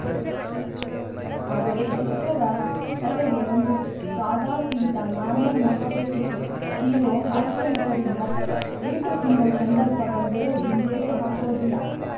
ಆದರೆ ಚಿತ್ರದ ಕತೆಗೆ ಒಂದು ಸಾದಾ ಸೀದಾ ನಾರ್ಮಲ್‌ ಮುಖ ಬೇಕಿತ್ತು ಹೀರೋ ಹಾಸ್ಯ ನಟರಿಂದ ಏಟು ತಿನ್ನೋ ಸಂದರ್ಭ ಬಂದರೂ ಹಿಂದೇಟು ಹಾಕೋದಿಲ್ಲ